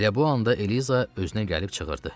Elə bu anda Eliza özünə gəlib çığırdı.